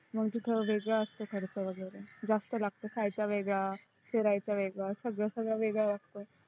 जास्त लागत खायचा वेगळा करायचं वेगळा सगळ सगळ वेगळ लागत